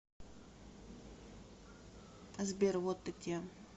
сбер вот ты где